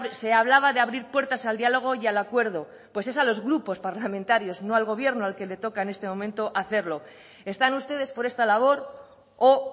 se hablaba de abrir puertas al diálogo y al acuerdo pues es a los grupos parlamentarios no al gobierno al que le toca en este momento hacerlo están ustedes por esta labor o